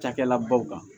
Cakɛda baw kan